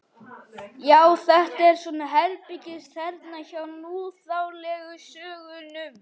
Já, þetta er svona herbergisþerna hjá núþálegu sögnunum.